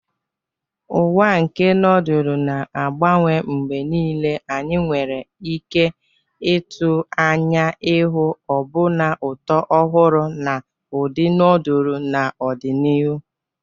Ụwa nke nodulu na-agbanwe mgbe niile, anyị nwere ike ịtụ anya ịhụ ọbụna ụtọ ọhụrụ na ụdị nodulu n'ọdịnihu.